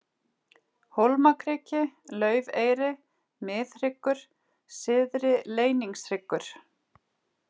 Hólmakriki, Laufeyri, Miðhryggur, Syðri-Leyningshryggur